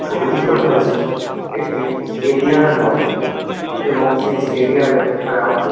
ছবিটি তোলা হয়েছে একটি স্টেডিয়াম -এর মধ্যে এবং সেই স্টেডিয়াম -এর গ্রাউন্ড -এ--